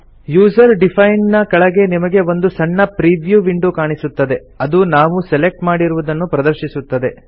user defined ನ ಕೆಳಗೆ ನಿಮಗೆ ಒಂದು ಸಣ್ಣ ಪ್ರಿವ್ಯೂ ವಿಂಡೋ ಕಾಣಿಸುತ್ತದೆ ಅದು ನಾವು ಸೆಲೆಕ್ಟ್ ಮಾಡಿರುವುದನ್ನು ಪ್ರದರ್ಶಿಸುತ್ತದೆ